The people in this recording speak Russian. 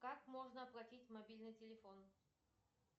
как можно оплатить мобильный телефон